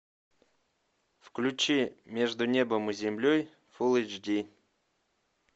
включи между небом и землей фул эйч ди